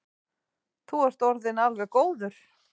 Þú ert orðinn alveg góður.